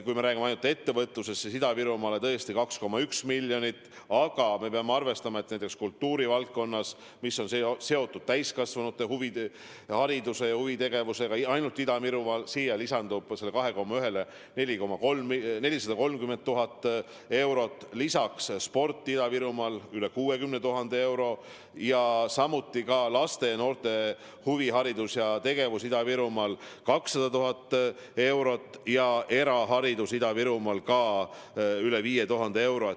Kui me räägime ainult ettevõtlusest, siis Ida-Virumaale läheb 2,1 miljonit, aga näiteks kultuurivaldkonnas, mis on seotud täiskasvanute hariduse ja huvitegevusega, lisandub ainult Ida-Virumaal sellele 2,1 miljonile veel 430 000 eurot, pluss sporti Ida-Virumaal üle 60 000 euro, samuti laste ja noorte huviharidusele ja -tegevusele Ida-Virumaal 200 000 eurot, eraharidusele Ida-Virumaal üle 5000 euro.